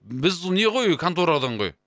біз не ғой конторадан ғой